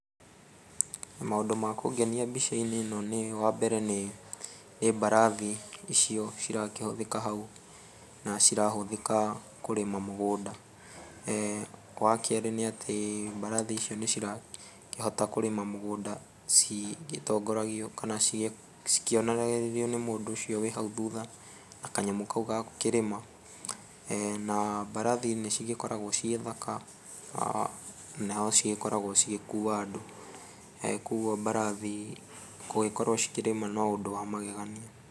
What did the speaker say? Maũndũ ma kũngenia mbicainĩ ĩno nĩ wa mbere nĩ, nĩ mbarathi icio cirakĩhũthĩka hau na cirahũthĩka kũrĩma mũgũnda. Wa kerĩ nĩ atĩ mbarathi icio nĩcirakĩhota kũrĩma mũgunda cigĩtongoragio kana cikĩonagĩrĩrio nĩ mũndũ ũcio wĩ hau thutha na kanyamũ kau ga gũkĩrĩma na mbarathi nĩ cigĩkoragwo ciĩ thaka na nocigĩkoragwo cigĩkua andũ. Koguo mbarathi gũgĩkorwo cikĩrĩma no ũndũ wa magegania.